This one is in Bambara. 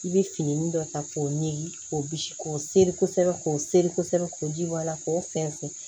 I bɛ fini dɔ ta k'o ɲini k'o bisi k'o seri kosɛbɛ k'o seri kosɛbɛ k'o ji bɔ a la k'o fɛn fɛn